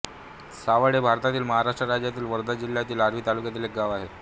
सावड हे भारतातील महाराष्ट्र राज्यातील वर्धा जिल्ह्यातील आर्वी तालुक्यातील एक गाव आहे